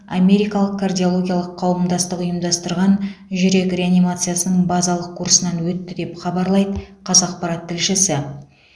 америкалық кардиологиялық қауымдастық ұйымдастырған жүрек реанимациясының базалық курсынан өтті деп хабарлайды қазақпарат тілшісі